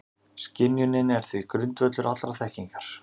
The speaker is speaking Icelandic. Skynjunin er því grundvöllur allrar þekkingar.